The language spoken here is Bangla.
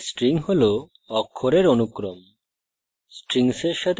জাভাতে string হল অক্ষরের অনুক্রম